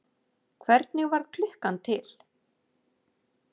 Hvernig varð klukkan til?